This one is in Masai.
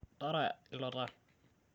tara ilo taa